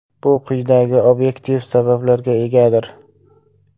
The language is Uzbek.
Bu quyidagi obyektiv sabablarga egadir.